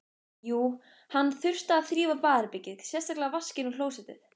Jú, hann þurfti að þrífa baðherbergið, sérstaklega vaskinn og klósettið.